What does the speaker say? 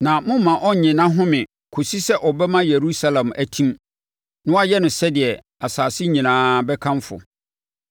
na mommma ɔnnye nʼahome kɔsi sɛ ɔbɛma Yerusalem atim na wayɛ no deɛ asase nyinaa bɛkamfo.